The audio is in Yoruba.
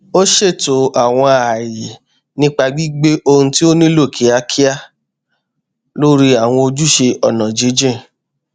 ó ṣètò àwọn ààyè nípa gbígbé ohun tó nílò kíákíá lórí àwọn ojúṣe ọnà jínjìn